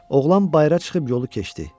Oğlan bayıra çıxıb yolu keçdi.